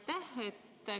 Aitäh!